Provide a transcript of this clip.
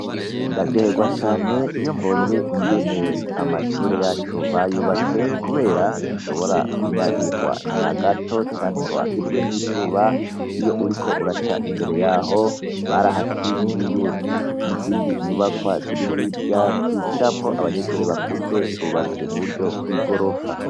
Ndaryoherwa cane iyo mbonye amashure yacu ingene bayubatse kuberako ntidushobora kunyagirwa nagato canke ngo wakirwe n'izuba iyo uriko uraca imbere yaho barahakingiye n'izindi nyubakwa zirihirya zigiramwo abanyeshure bakuze zubatswe muburyo bwigorofa .